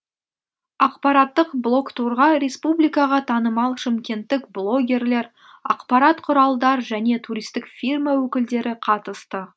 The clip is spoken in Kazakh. ақпараттық блогтурға республикаға танымал шымкенттік блогерлер ақпарат құралдар және туристік фирма өкілдері қатысты